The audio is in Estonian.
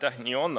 Jaa, nii on.